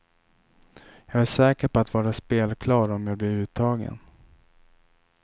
Jag är säker på att vara spelklar om jag blir uttagen.